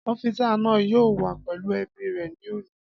Ọ́físà náà yóò wà pẹ̀lú ẹbí rẹ̀ ní òní